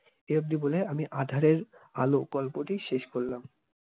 এই অবধি বলে আমি আঁধারে আলো গল্পটি শেষ করলাম